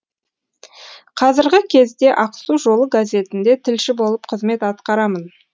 қазіргі кезде ақсу жолы газетінде тілші болып қызмет атқарамын